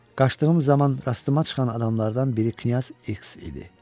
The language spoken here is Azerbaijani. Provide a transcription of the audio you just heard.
Qaşdığım zaman rastıma çıxan adamlardan biri Knyaz X idi.